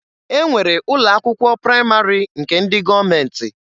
E nwere ụlọ akwụkwọ praịmarị nke ndị gọọmenti